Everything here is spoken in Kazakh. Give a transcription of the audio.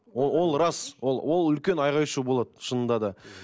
ол рас ол ол үлкен айқай шу болады шынында да